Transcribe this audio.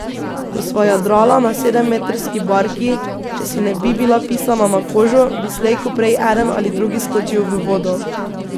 Ko sva jadrala na sedemmetrski barki, če si ne bi bila pisana na kožo, bi slej ko prej eden ali drugi skočil v vodo.